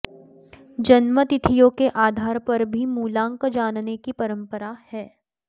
जन्म तिथियों के आधार पर भी मूलांक जानने की परम्परा है